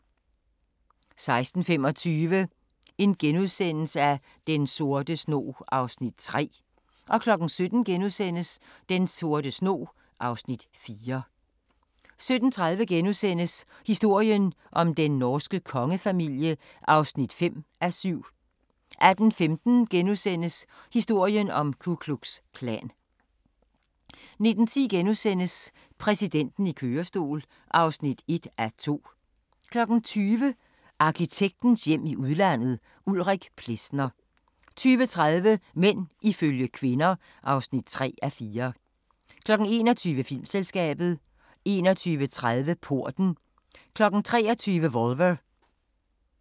16:25: Den sorte snog (Afs. 3)* 17:00: Den sorte snog (Afs. 4)* 17:30: Historien om den norske kongefamilie (5:7)* 18:15: Historien om Ku Klux Klan * 19:10: Præsidenten i kørestol (1:2)* 20:00: Arkitektens hjem i udlandet: Ulrik Plesner 20:30: Mænd ifølge kvinder (3:4) 21:00: Filmselskabet 21:30: Porten 23:00: Volver